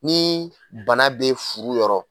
Ni bana bɛ furu yɔrɔ